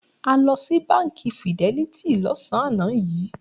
A lọ sí Báńkì Fidelity lọ́sàn-án yìí.